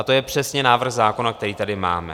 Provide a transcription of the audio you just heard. A to je přesně návrh zákona, který tady máme.